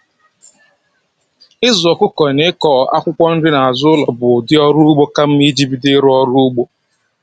Ịzụ ọkụkọ na ịkụ akwụkwọ nri n'azụ ụlọ bụ ụdị ọrụ ugbo ka mma iji bido ịrụ ọrụ ugbo